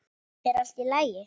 Þetta er allt í lagi.